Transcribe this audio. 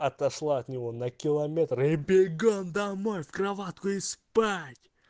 отослать него на километры бегом домой в кроватку и спать